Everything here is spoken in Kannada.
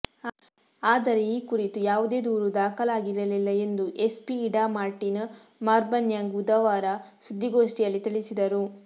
ಆದರೆ ಈ ಕುರಿತು ಯಾವುದೇ ದೂರು ದಾಖಲಾಗಿರಲಿಲ್ಲ ಎಂದು ಎಸ್ಪಿ ಇಡಾ ಮಾರ್ಟಿನ್ ಮಾರ್ಬನ್ಯಾಂಗ್ ಬುಧವಾರ ಸುದ್ದಿಗೋಷ್ಠಿಯಲ್ಲಿ ತಿಳಿಸಿದರು